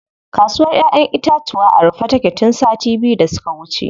Kasuwr ƴaƴen itatuwa a rufe take tun sati biyu da suka wuce.